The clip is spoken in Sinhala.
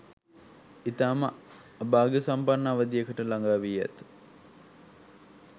ඉතාම අභාග්‍යසම්පන්න අවධියකට ළගා වී ඇත.